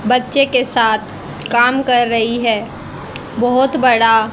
बच्चे के साथ काम कर रही है बहोत बड़ा--